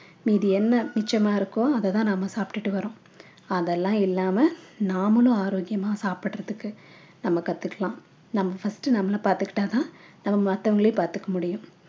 மீதி என்ன மிச்சமா இருக்கோ அத தான் நம்ம சாப்பிட்டுட்டு வர்றோம் அதெல்லாம் இல்லாம நாமளும் ஆரோக்கியமா சாப்பிடுறதுக்கு நம்ம கத்துக்கலாம் நம்ம first நம்மல பார்த்துகிட்டா தான் நம்ம மத்தவங்களையும் பார்த்துக்க முடியும்